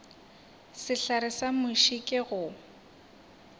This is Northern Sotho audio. sehlare sa muši ke go